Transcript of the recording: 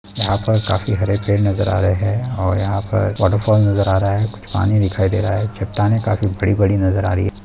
यहां पर काफी हरे पेड़ नजर आ रहे है और यहाँ पर वॉटरफॉल नजर आ रहा है कुछ पानी दिखाई दे रहा हैचट्टाने काफी बड़ी-बड़ी नजर आ रही हैं ।